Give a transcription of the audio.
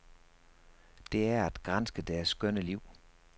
Det er at granske deres skønne liv.